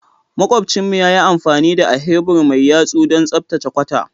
Makwabcinmu ya yi amfani da ahebur mai yatsu don tsaftace kwata.